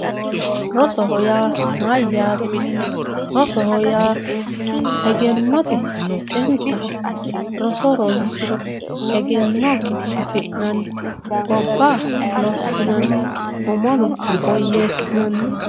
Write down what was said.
rosoho yaa mayaate rosoho yaa egennote xintaho roso ronsiro egenno afi'nanni gobba lossinanni umono woyeesinanni.